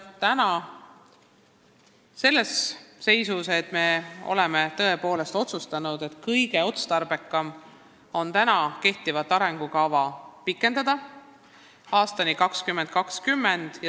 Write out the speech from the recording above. Mitmesugustel asjaoludel oleme täna tõepoolest otsustanud, et kõige otstarbekam on täna kehtivat arengukava pikendada aastani 2020.